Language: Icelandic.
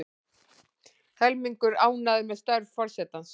Helmingur ánægður með störf forsetans